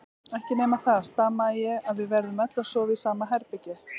Ekki nema það, stamaði ég, að við verðum öll að sofa í sama herbergi.